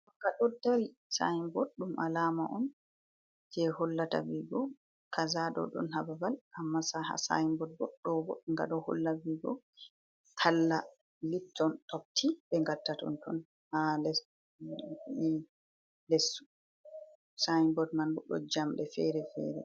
Nga ɗo dari, sinbord ɗum alama on jei hollata vigo kaza ɗo dun haa babal. Amma haa sainbord ɗo bo nga ɗo holla vigo talla lipton topti ɓe ngatta totton, ha les sainbord man bo ɗon jamɗe fere-fere